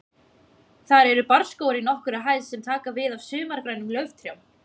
Þar eru barrskógar í nokkurri hæð sem taka við af sumargrænum lauftrjám.